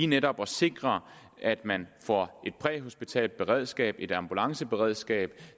netop at sikre at man får et præhospitalt beredskab et ambulanceberedskab